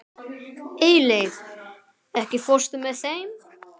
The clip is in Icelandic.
Eyleif, ekki fórstu með þeim?